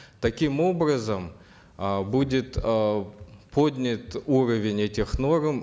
таким образом э будет э поднят уровень этих норм